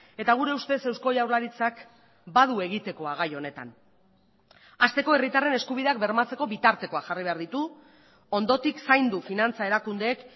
eta gure ustez eusko jaurlaritzak badu egitekoa gai honetan hasteko herritarren eskubideak bermatzeko bitartekoak jarri behar ditu ondotik zaindu finantza erakundeek